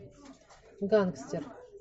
гангстер